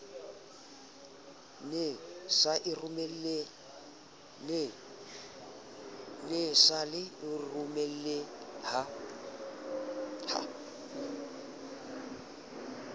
ne sa e romele ha